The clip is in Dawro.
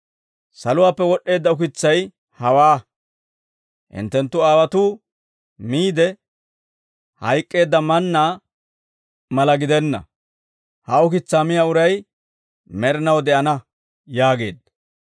Saluwaappe wod'd'eedda ukitsay hawaa; hinttenttu aawotuu miide hayk'k'eedda mannaa mala gidenna; ha ukitsaa miyaa uray med'inaw de'ana» yaageedda.